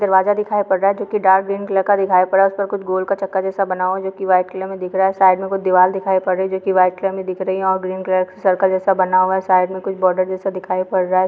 दरवाजा दिखाई पड़ रहा हैं जो कि डार्क ग्रीन कलर का दिखाई पड़ रहा हैं उस पर कुछ गोल सा चक्का जैसे बना हुआ हैंजो कि वाइट कलर में दिख रहा हैं साइड में कुछ दीवाल दिखाई पड़ रही हैं जो कि वाइट कलर में दिख रही हैं और ग्रीन कलर से सर्कल जैसा बना हुआ हैं साइड में कुछ बॉर्डर जैसा दिखाई पड़ रहा--